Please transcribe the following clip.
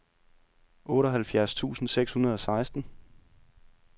otteoghalvfjerds tusind seks hundrede og seksten